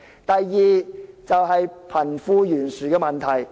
第二，就是貧富懸殊的問題。